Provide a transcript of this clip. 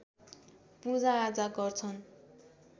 पूजाआजा गर्छन्